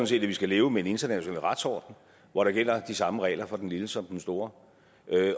set at vi skal leve med en international retsorden hvor der gælder de samme regler for den lille som for den store